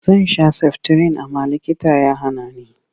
Zan sha saftirin amma likita ya hana ni.